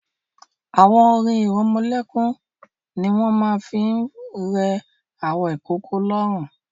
Àwọn orin-ìrọmọlẹ́kún ni wọ́n máa ń fi ń rẹ àwọn ìkókó lóórun.